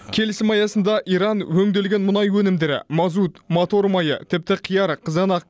келісім аясында иран өңделген мұнай өнімдері мазут мотор майы тіпті қияр қызанақ